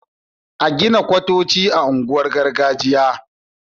a Gina manyan kwatoci a unguwanin gargajiya